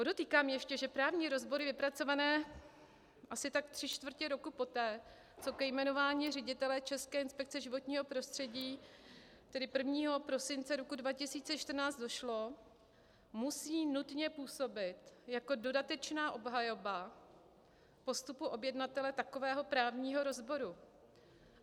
Podotýkám ještě, že právní rozbory vypracované asi tak tři čtvrtě roku poté, co ke jmenování ředitele České inspekce životního prostředí, tedy 1. prosince roku 2014, došlo, musí nutně působit jako dodatečná obhajoba postupu objednatele takového právního rozboru.